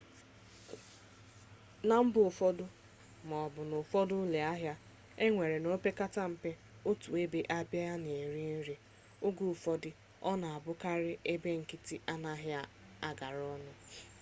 na mba ufodu ma o bu na'ufodu ulo ahia enwere na opekata mpe otu ebe a na-ere nri oge ufodu o na abukari ebe nkiti anaghi agara onu